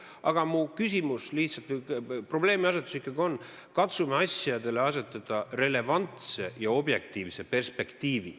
Aga minu probleemiasetus ikkagi on see, et katsume asjad asetada relevantsesse ja objektiivsesse perspektiivi.